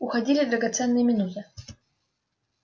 уходили драгоценные минуты